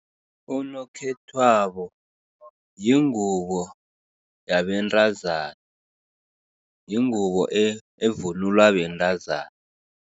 Unokhethwabo yingubo yabentazana, yingubo evunulwa bentazana.